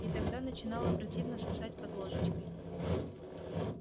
и тогда начинало противно сосать под ложечкой